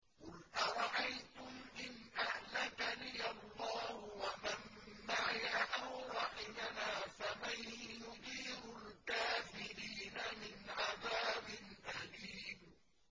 قُلْ أَرَأَيْتُمْ إِنْ أَهْلَكَنِيَ اللَّهُ وَمَن مَّعِيَ أَوْ رَحِمَنَا فَمَن يُجِيرُ الْكَافِرِينَ مِنْ عَذَابٍ أَلِيمٍ